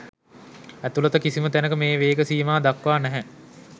ඇතුළත කිසිම තැනක මේ වේග සීමා දක්වා නැහැ.